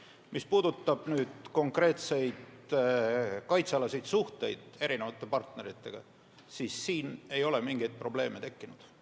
Mis puudutab konkreetseid kaitsealaseid suhteid erinevate partneritega, siis selles ei ole mingeid probleeme tekkinud.